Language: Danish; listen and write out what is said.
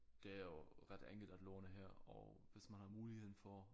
Det er jo ret enkelt at låne her og hvis man har muligheden for